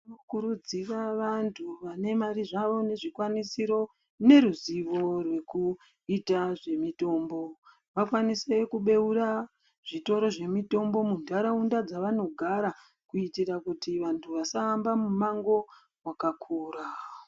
Tinokurudzira vanthu vane mare zvavo nezvikwanisiro neruzivo rwekuita zvemitombo vakwanise kubeura zvitoro zvemitombo muntaraunda dzavanogara kuitira kuti vanthu vasahamba mimango wakakura.